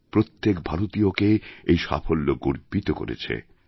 প্রত্যেক ভারতীয়কে এই সাফল্য গর্বিত করেছে